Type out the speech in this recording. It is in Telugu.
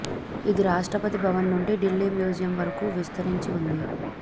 ఇది రాష్ట్రపతి భవన్ నుండి ఢిల్లీ మ్యూజియం వరకూ విస్తరించి వుంది